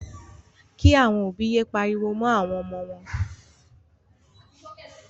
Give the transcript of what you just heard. Kí. àwọn òbí yé pariwo mọ́ àwọn ọmọ wọn.